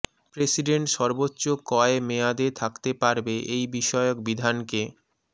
president সর্বোচ্চ কয় মেয়াদে থাকতে পারবে এই বিষয়ক বিধানকে মি